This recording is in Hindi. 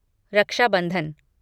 रक्षा बंधन